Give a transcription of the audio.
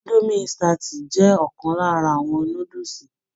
Idomi insitati jẹ ọkan lára àwọn núdúsí.